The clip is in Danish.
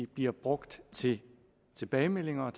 bliver brugt til tilbagemeldinger